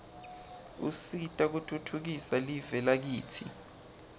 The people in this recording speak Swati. usita kutfutfukisa live lakitsi